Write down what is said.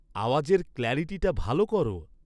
আওয়াজের ক্ল্যারিটিটা ভালো করো